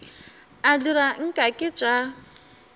a dira nke ke tša